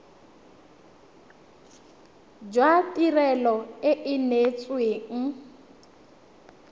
jwa tirelo e e neetsweng